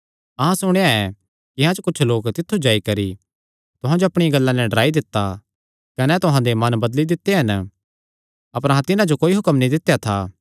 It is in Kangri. अहां सुणेया ऐ कि अहां च कुच्छ लोक तित्थु जाई करी तुहां जो अपणियां गल्लां नैं डराई दित्ता कने तुहां दे मन बदली दित्ते हन अपर अहां तिन्हां जो कोई हुक्म नीं दित्या था